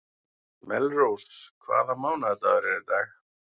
Melrós, hvaða mánaðardagur er í dag?